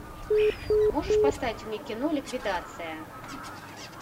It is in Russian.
можешь поставить мне кино ликвидация